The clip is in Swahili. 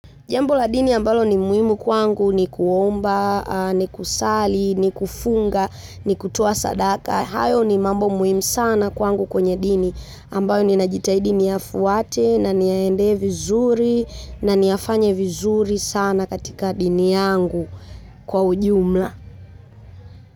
Jambo la dini ambalo ni muhimu kwangu ni kuomba, ni kusali, ni kufunga, ni kutoa sadaka. Hayo ni mambo muhimu sana kwangu kwenye dini. Ambayo ninajitahidi niyafuate na niyaendee vizuri na niyafanye vizuri sana katika dini yangu kwa ujumla.